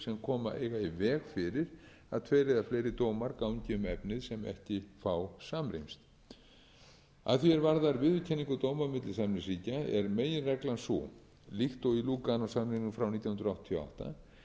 koma eiga í veg fyrir að tveir eða fleiri dómar gangi um efni sem ekki fá samrýmst að því er varðar viðurkenningu dóma á milli samningsríkja er meginreglan sú líkt og í lúganósamningnum frá nítján hundruð áttatíu og átta